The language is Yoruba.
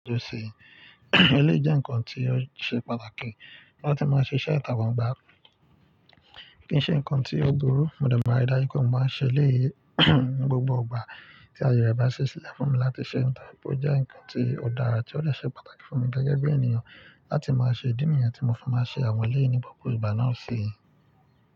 Eléyìí jẹ́ ǹkan tí ó ṣe pàtàkì láti máa ṣe iṣẹ́ ìta gbangba. Kì í ṣe ǹkan tí ó burú, mo dẹ̀ máa rí dájú pé mo máa ṣe eléyìí ní gbogbo ìgbà tí ayé rẹ̀ bá ṣi sílẹ̀ fún mi láti ṣe ǹkan bó jẹ́ ǹkan tí ó dára ti ó dẹ̀ ṣe pàtàkì fún mi gẹ́gẹ́ bí ènìyàn láti máa ṣe ìdí nìyẹn tí mo fi máa ṣe àwọn eléyìí ní gbogbo ìgbà náà sí i.